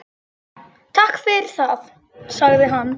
Takk fyrir það- sagði hann.